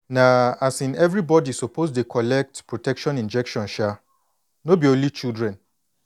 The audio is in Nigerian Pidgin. na um everybody suppose dey collect protection injection um no be only children